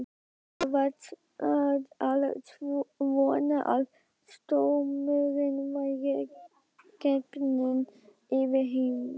Ég var að vona að stormurinn væri genginn yfir heima.